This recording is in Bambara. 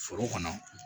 Foro kɔnɔ